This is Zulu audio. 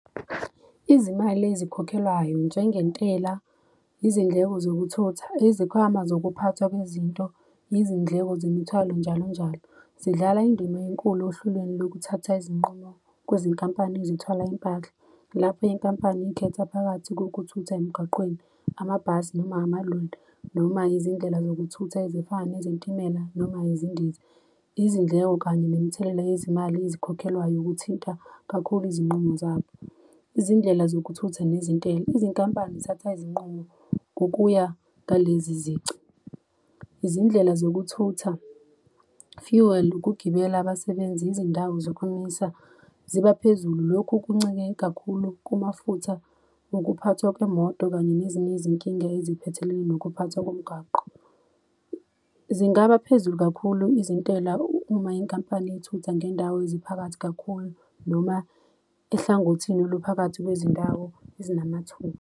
Izimali ezikhokhelwayo njengentela, izindleko zokuthutha, izikhwama zokuphathwa kwezinto, izindleko zemithwalo njalo njalo. Zidlala indima enkulu ohlelweni lokuthatha izinqumo kwezinkampani ezithwala impahla. Lapho inkampani ikhetha phakathi kokuthutha emgwaqweni, amabhasi noma amaloli noma izindlela zokuthutha ezifana nezitimela noma izindiza. Izindleko kanye nemithelela yezimali ezikhokhelwayo kuthinta kakhulu izinqumo zabo. Izindlela zokuthutha nezintela, izinkampani zithatha izinqumo kokuya ngalezizici. Izindlela zokuthutha-fuel, ukugibela abasebenzi, izindawo zokumisa zibaphezulu. Lokhu kuncike kakhulu kumafutha, ukuphathwa kwemoto kanye nezinye izinkinga eziphethelene nokuphathwa komgwaqo. Zingaba phezulu kakhulu izintela uma inkampani ithutha ngendawo ziphakathi kakhulu noma ehlangothini oluphakathi kwezindawo ezinamathuba.